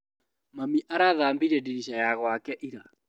Mami arathambirie ndirica ya gwake ira.